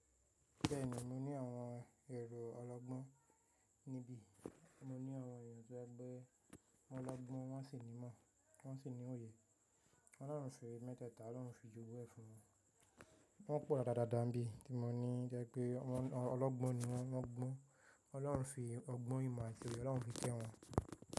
Bẹ́ẹ̀ni mo ní àwọn èrò ọlọ́gbọ́n níbí, mo ní àwọn èèyàn to jẹ pẹ́ wọn lọ́gbọ́n wọ́n sì ní mọ̀, wọ́n sì ní òye, Ọlọ́run se mẹ́tẹ̀ẹ̀ta, Ọlọ́run fi jogun ẹ̀ fún wọn. Wọ́n pọ̀ dádadáda n bí tí mo ní to jẹ́ pé ọlọ́gbọ́n ni wọ́n, wọ́n gbọ́n. Ọlọ́run fi ọgbọ́n, imo ati oye Ọlọ́run fi kẹ́ wọn.